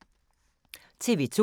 TV 2